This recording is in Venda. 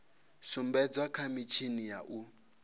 sumbedzwa kha mitshini ya u